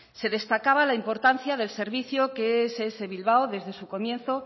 se destacaba la importancia del servicio que ess bilbao desde su comienzo